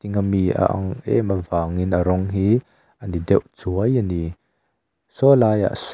mi a ang em avângin a rawng hi a ni deuh chuai ani saw laiah sawn--